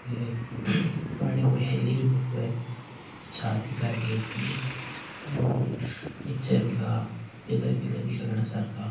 ये पुरानी कोई हवेली री फोटो है छात दिखाईदी हैं ऊपर की और नीचे बिका पिलर पिलर दिखे घना सार का।